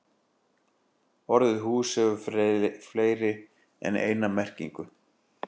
Orðið hús hefur fleiri en eina merkingu.